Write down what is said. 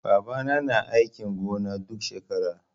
Baba na yana aikin gona duk shekara